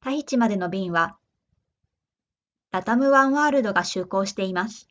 タヒチまでの便は latam ワンワールドが就航しています